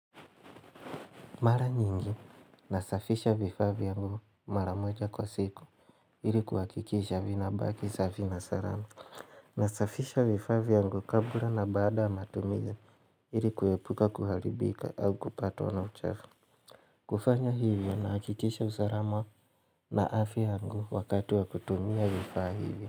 Mara nyingi, nasafisha vifaa vyangu mara moja kwa siku, ili kuhakikisha vinabaki, safi na salama. Nasafisha vifaa vyangu kabla na baada ya matumiza, ili kuepuka kuharibika au kupatwa na uchafu. Kufanya hivyo, nahakikisha usalama na afya yangu wakati wa kutumia vifaa hivyo.